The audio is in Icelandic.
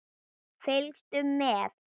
Fylgstu með!